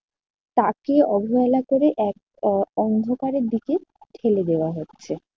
তাকে অবহেলা করে এক অ~ অন্ধকারের দিকে ঠেলে দেওয়া হচ্ছে।